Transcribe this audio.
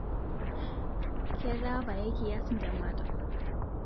Ketaa payie kiyas ntemata